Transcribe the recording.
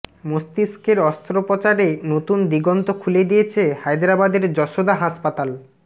মস্তিষ্কের অস্ত্রোপচারে নতুন দিগন্ত খুলে দিয়েছে হায়দরাবাদের যশোদা হাসপাতাল